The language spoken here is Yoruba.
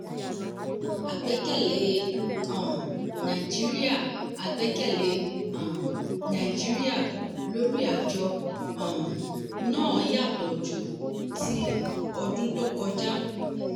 àgbẹ́kẹ̀lé um nàìjíríà àgbẹ́kẹ̀lé um nàìjíríà lórí àjọ um náà yàtọ̀ ju ti ọdún tó kọjá.